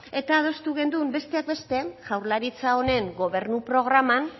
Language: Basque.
eta adostu genuen besteak beste jaurlaritza honen gobernu programan